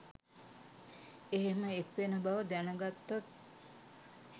එහෙම එක්වෙන බව දැන ගත්තොත්